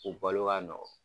U balo ka nɔgɔ.